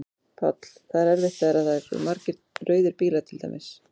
Páll: Það er erfitt þegar að það eru margir rauðir bílar til dæmis?